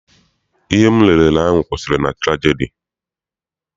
Ihe m lele ahụ kwụsịrị na turagidi.